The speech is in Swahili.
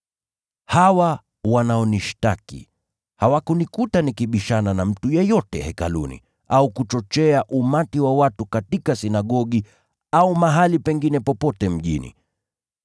Hawa wanaonishtaki hawakunikuta nikibishana na mtu yeyote Hekaluni au kuchochea umati wa watu katika sinagogi au mahali pengine popote mjini.